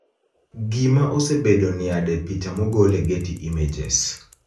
Gima osebedo niade Picha mogol e Getty Images